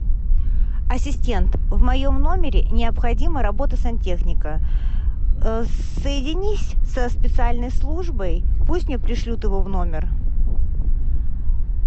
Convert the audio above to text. ассистент в моем номере необходима работа сантехника соединись со специальной службой пусть мне пришлют его в номер